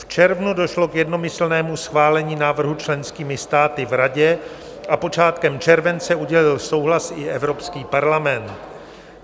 V červnu došlo k jednomyslnému schválení návrhu členskými státy v Radě a počátkem července udělil souhlas i Evropský parlament.